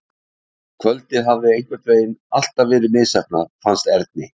Kvöldið hafði einhvern veginn allt verið misheppnað, fannst Erni.